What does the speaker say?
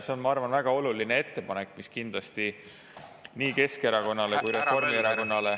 See on, ma arvan, väga oluline ettepanek, mis kindlasti nii Keskerakonnale kui ka Reformierakonnale …